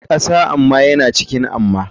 Kasa amma yana cikin amma.